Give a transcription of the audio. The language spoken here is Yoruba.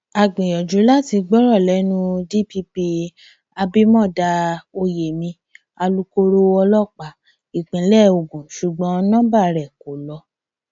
a gbìyànjú láti gbọrọ lẹnu dpp abimodá oyemi alūkkoro ọlọpàá ìpínlẹ ogun ṣùgbọn nomba rẹ kò lọ